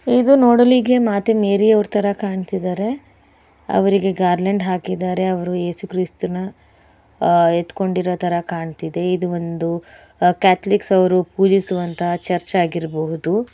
ಇದು ನೋಡಲಿಕ್ಕೆ ಮಾತೇ ಮೇರಿ ತರ ಕಾಣ್ತಿದ್ದರೆ ಅವ್ರು ಗಾರಲ್ಯಾಂಡ್ ಹಾಕಿದ್ದಾರೆ ಅವ್ರು ಯೇಸುಕ್ರಿಸ್ತನ ಅಹ್ ಎತ್ತಕೊಂಡಿತ್ತರ ಕಾಣತ್ತಿದೆ ಇದು ಒಂದುಕ್ಯಾಥೋಲಿಕ್ ಪೂಜಿಸುವಂತಹ ಚರ್ಚಾಗಿರಬಹುದು.